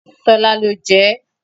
Tọ́lá ló jẹ ẹ́.